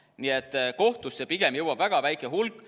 Nii et kohtusse pigem jõuab väga väike hulk.